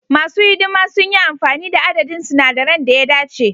Masu hidima sun yi amfani da adadin sinadaran da ya dace.